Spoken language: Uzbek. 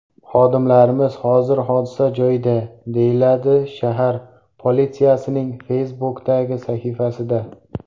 Xodimlarimiz hozir hodisa joyida”, deyiladi shahar politsiyasining Facebook’dagi sahifasida.